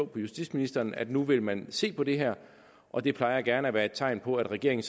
på justitsministeren at nu vil man se på det her og det plejer gerne være et tegn på at regeringen